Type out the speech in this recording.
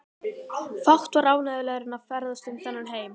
Fátt var ánægjulegra en að ferðast um þennan heim.